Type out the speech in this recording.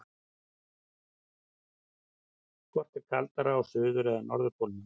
Hvort er kaldara á suður- eða norðurpólnum?